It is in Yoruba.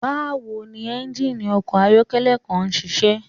Bawo ni engine ọkọ ayọkẹlẹ kan ṣiṣẹ?